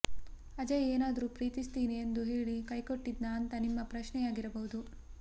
ಅಜಯ್ ಏನಾದ್ರೂ ಪ್ರೀತಿಸ್ತೀನಿ ಎಂದು ಹೇಳಿ ಕೈಕೊಟ್ಟಿದ್ನಾ ಅಂತ ನಿಮ್ಮ ಪ್ರಶ್ನೆಯಾಗಿರಬಹುದು